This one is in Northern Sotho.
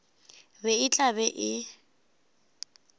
be e tla be e